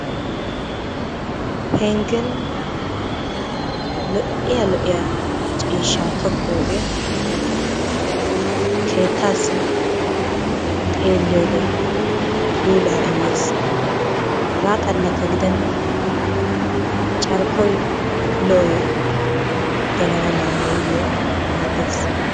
Penggen lo'iya lo'iya ciishshaa tokkiyogee keettaassi xeelliyode puulaa immees. Hegaa xallakka gidenna carkkoy lo'oy gelana mala nuuyyoo maaddes.